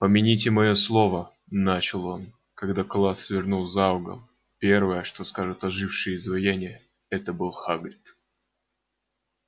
помяните моё слово начал он когда класс свернул за угол первое что скажут ожившие изваяния это был хагрид